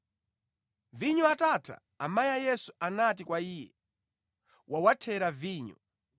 Vinyo atatha, amayi a Yesu anati kwa Iye, “Wawathera vinyo.”